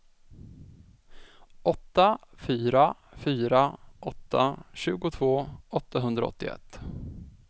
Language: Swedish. åtta fyra fyra åtta tjugotvå åttahundraåttioett